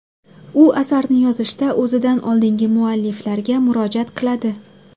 U asarni yozishda o‘zidan oldingi mualliflarga murojaat qiladi.